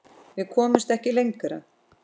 Við komumst ekki lengra.